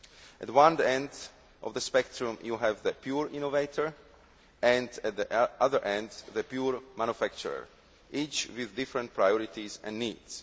At one end of the spectrum, you have the pure innovator and, at the other, the pure manufacturer, each with different priorities and needs.